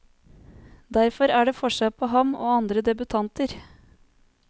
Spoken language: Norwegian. Derfor er det forskjell på ham og andre debutanter.